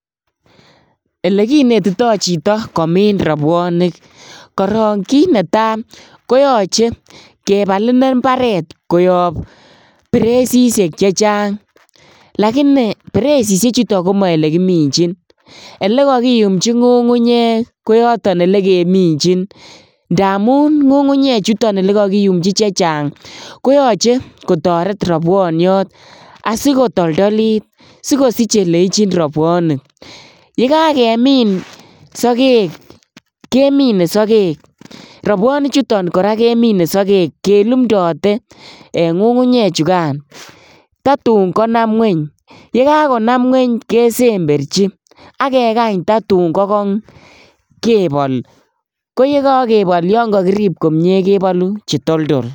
Ole kinetitai chito komin rabwanik karok kiit netai koyache kebal imbaret koyang pereshishek chechang lakini pereshishek chutak komech ole kakiminchi ole kakiumchii ngungunyek koyotok ole keminchin ngaa ngungunyek chutak ole kakiumchi chenchang koyach kotaret rabwaniat asikotoltolit sikosich ole ichin rabwaniat yekakemin sakek kenimen sakek rabwanik chutak koraa kemine sakek kelumndate eng ngungunyek chekaitak tatun kaa konam ingony yee kanom ingony kesemberchi akekany tatun kakokony kebal yee kakorut komie kebal che toltol